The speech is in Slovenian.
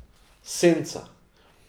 Senca.